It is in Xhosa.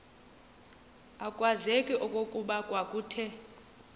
akwazeki okokuba kwakuthe